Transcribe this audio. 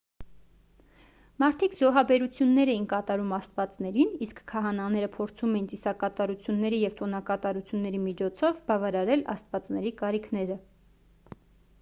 մարդիկ զոհաբերություններ էին կատարում աստվածներին իսկ քահանաները փորձում էին ծիսակատարությունների և տոնակատարությունների միջոցով բավարարել աստվածների կարիքները